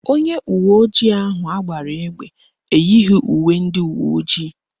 Onye uweojii ahụ agbara egbe eyighi uwe ndị uweojii